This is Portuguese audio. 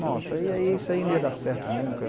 Nossa, e aí isso aí não ia dar certo nunca.